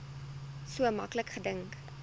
so maklik gedink